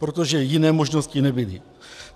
Protože jiné možnosti nebyly.